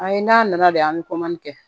Ayi n'a nana de an bɛ kɛ